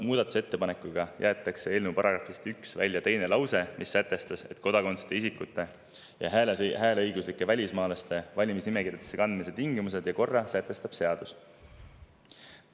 Muudatusettepanekuga jäetakse eelnõu §‑st 1 välja teine lause, mis sätestas, et kodakondsuseta isikute ja hääleõiguslike välismaalaste valimisnimekirjadesse kandmise tingimused ja korra sätestab seadus.